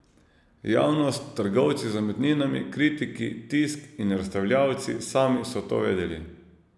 Javnost, trgovci z umetninami, kritiki, tisk, in razstavljavci sami so to vedeli.